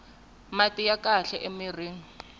mati ya kahle mirhini